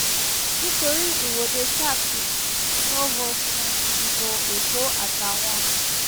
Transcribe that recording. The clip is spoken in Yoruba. nítorí ìwọ́de sars inov sún ìdìbò èkó àtàwọn mi